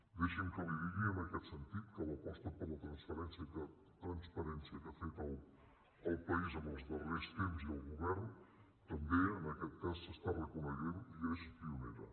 deixi’m que li digui en aquest sentit que l’aposta per la transparència que ha fet el país en els darrers temps i el govern també en aquest cas s’està reconeixent i és pionera